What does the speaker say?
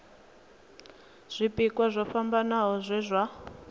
zwipia zwo fhambanaho zwe zwa